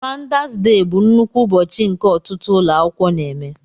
fáudás déh bụ nnukwu ụbọchị nke ọtụtụ ụlọ akwụkwọ na-eme